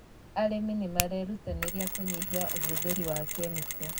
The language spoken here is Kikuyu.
Arĩmi nĩ marerutanĩria kũnyihia ũhũthĩri wa kemiko